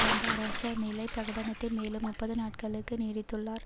வந்த அரச நிலை பிரகடனத்தை மேலும் முப்பது நாட்களுக்கு நீடித்துள்ளார்